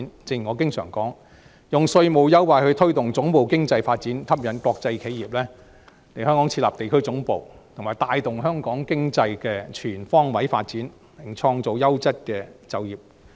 正如我經常說，我們應利用稅務優惠去推動總部經濟發展，吸引國際企業來香港設立地區總部，以帶動香港經濟全方位發展，並創造優質的就業機會。